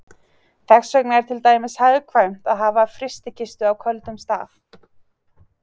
Þess vegna er til dæmis hagkvæmt að hafa frystikistu á köldum stað.